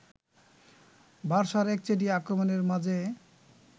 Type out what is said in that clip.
বার্সার একচেটিয়া আক্রমণের মাঝে